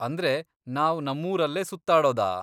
ಅಂದ್ರೆ, ನಾವ್ ನಮ್ಮೂರಲ್ಲೇ ಸುತ್ತಾಡೋದಾ?